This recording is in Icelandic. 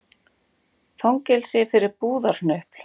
Fangelsi fyrir búðarhnupl